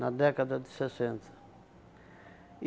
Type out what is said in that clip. Na década de sessenta.